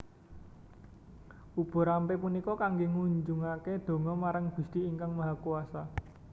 Ubo rampe punika kangge ngunjukake donga marang Gusti Ingkang Mahakuwasa